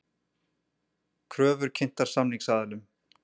Kröfur kynntar samningsaðilum